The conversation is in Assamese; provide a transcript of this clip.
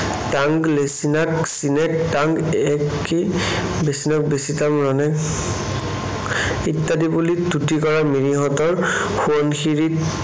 তাঙ্গ লেছিনাক চিনেক তাঙ্গ একি ৰাক্ বেচিনেক্ বেচি তাম ৰনেক্ ইত্যাদি বুলি তুতি কৰা মিৰিহঁতৰ সোৱণশিৰীত